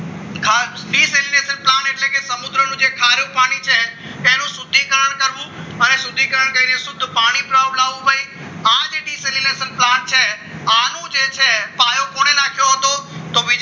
ખાસ plant એટલે કે સમુદ્રનું જે ખારું પાણી છે તેનું શુદ્ધિકરણ કરવું અને શુદ્ધિકરણ કરી પછી શુદ્ધ પાણી પહોંચાડવું આજે desrition plant છે આનો જે છે પાયો કોને નાખ્યો હતો તો ભાઈ